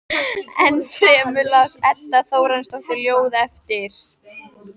Ennfremur las Edda Þórarinsdóttir ljóð eftir